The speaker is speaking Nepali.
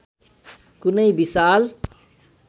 कुनै विशाल